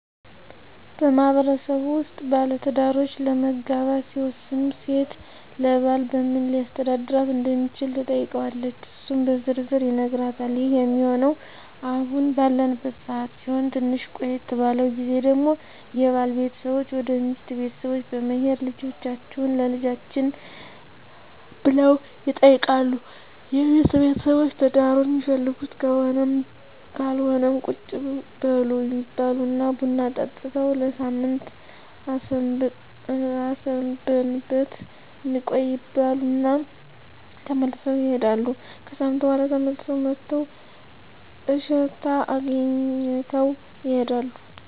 በማህበረሰቡ ውስጥ ባለትዳሮች ለመጋባት ሲወስኑ ሴት ለባል በምን ሊያስተዳድራት እንደሚችል ትጠይቀዋለች እሱም በዝርዝር ይነግራታል ይህ ሚሆነው አሁን ባለንበት ሰዓት ሲሆን ትንሽ ቆየት ባለው ግዜ ደግሞ የባል ቤተሰቦች ወደ ሚስት ቤተሰቦች በመሄድ ልጃቹህን ለልጃችን ብለው ይጠይቃሉ የሚስት ቤተሰቦች ትዳሩን ሚፈልጉት ከሆነም ካልሆነም ቁጭ በሉ ይባላሉ ቡና ጠጥተው ለሳምንት አስበንበት እንቆይ ይባሉ እና ተመልሰው ይሄዳሉ። ከሣምንት በኋላ ተመልሰው መጥተው እሽታ አግኝተው ይሄዳሉ።